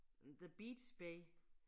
The Beat's Bay